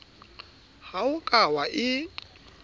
ha o ka wa e